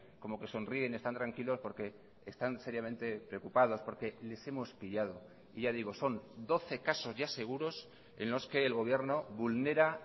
como que sonríen están tranquilos porque están seriamente preocupados porque les hemos pillado y ya digo son doce casos ya seguros en los que el gobierno vulnera